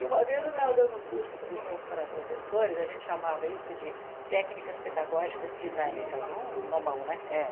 E uma vez eu estava dando um curso para para para professores, a gente chamava isso de técnicas pedagógicas dinâmicas, um nomão, né? É